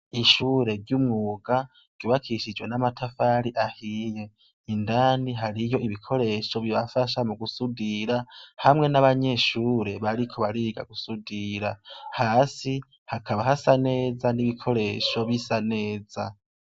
Ishure ry'umwuga ryubakishijwe, n'amatafari ahiye indani hariyo ibikoresho bibafasha mu gusudira hamwe n'abanyeshure bariko bariga gusudira hasi hakaba hasa neza n'ibikoresho v'isa neza.